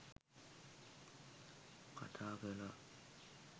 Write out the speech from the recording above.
කතා කළා.